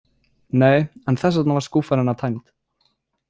Nei, en þess vegna var skúffan hennar tæmd.